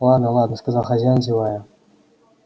ладно ладно сказал хозяин зевая